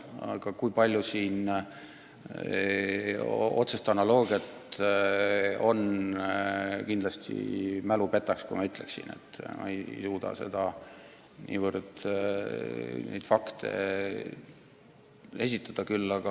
Aga kui palju siin otsest analoogiat on – mälu võib mind petta, kui ma seda ütleksin, ja ma ei hakka neid fakte esitlema.